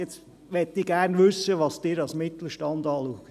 Nun möchte ich gerne wissen, was Sie genau als Mittelstand bezeichnen.